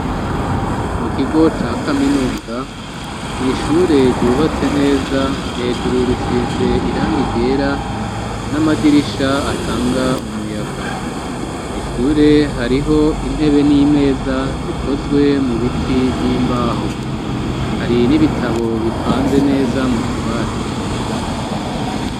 mu kigo ca kaminuza mw,ishure ryubatse neza hejuru risize irangi ryera n'amadirisha atanga umuyaga mw,ishure hariho intebe n'imeza zikozwe mu biti vy'imbaho hari n'ibitabo bipanze neza mu tubati